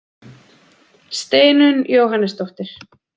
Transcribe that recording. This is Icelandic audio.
Steinunn Jóhannesdóttir.